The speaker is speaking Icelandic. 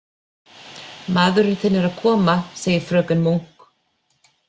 Maðurinn þinn er að koma, segir fröken Munk.